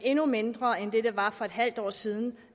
endnu mindre end det var for et halvt år siden